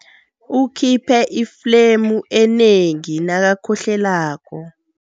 Ukhiphe iflemu enengi nakakhohlelako.